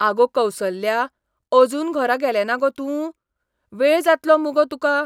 आगो कौसल्या, अजून घरा गेलेंना गो तूं? वेळ जातलो मुगो तुका.